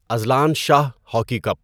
Azlan Shah hockey cup